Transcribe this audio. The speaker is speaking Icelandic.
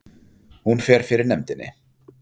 Hún fer fyrir nefndinni